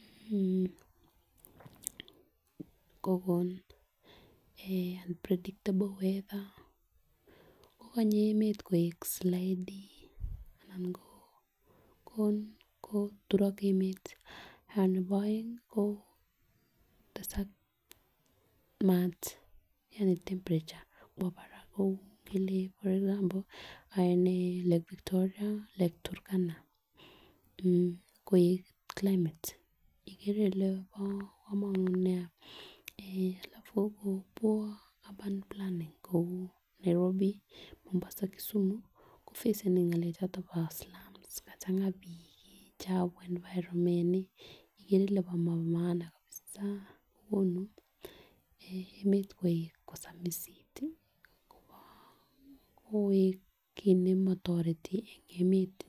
mmh kokon eeh predictable weather kokonye emet koik slightly anan ko koon koturok emet. Nebo eng ko kotesak mat Yani temperature kwak barak ngele for example lake Victoria, lake Turkana mmh koik climate ikere ile bo komonut nia eeh alafu ko poor urban planning kou Nairobi, Mombasa Kisumu kofeseni ngalek choton bo slams kachanga bik chefu environment ikere ile bo maana kabisa konu eeh emet kosamisit tii koik kii nemotoreti en emet.